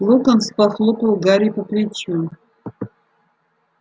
локонс похлопал гарри по плечу